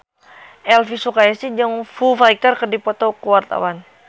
Elvy Sukaesih jeung Foo Fighter keur dipoto ku wartawan